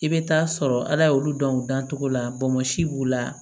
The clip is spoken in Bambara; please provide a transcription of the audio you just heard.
I bɛ taa sɔrɔ ala y'olu dɔn u dan cogo la bɔnsi b'u la